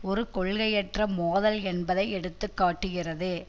ஒரு கொள்கையற்ற மோதல் என்பதை எடுத்து காட்டுகிறது